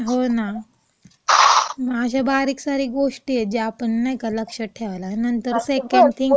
हो ना. अशा बारीक सारिक गोष्टी आहेत, ज्या आपण नाही का, लक्षात ठेवायला. नंतर सेकंड थिंग..